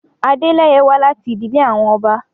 Adeleye wa lati idile awọn ọba